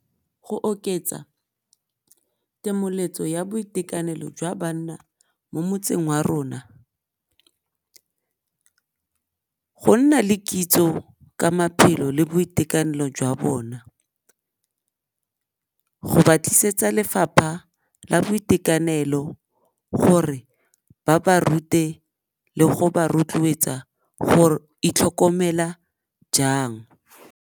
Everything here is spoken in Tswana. Go oketsa temoletso ya boitekanelo jwa banna mo motseng wa rona, go nna le kitso ka maphelo le boitekanelo jwa bona, go ba tlisetsa lefapha la boitekanelo gore ba ba rute le go ba rotloetsa go itlhokomela jang.